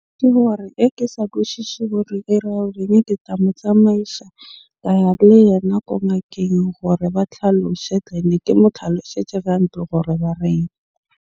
Ke gore e ke sa kwishishe gore e ra ke tla mo tsamaisa ka ya le yena ko ngakeng gore ba tlhaloshe. Ke mo tlhaloshetja gantle gore ba reng.